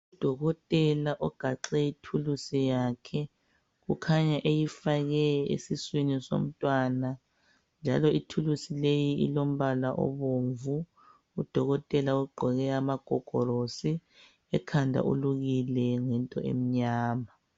Udokotela ogaxe ithulusi yakhe ukhanya eyifake esiswini somntwana njalo ithulusi leyi ilombala obomvu udokotela ugqoke amagogolosi ekhanda ulukile ngento emnyama.